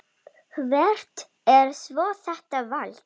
Hvert er svo þetta vald?